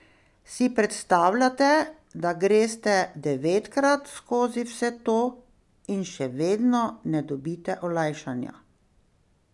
Si predstavljate, da greste devetkrat skozi vse to in še vedno ne dobite olajšanja?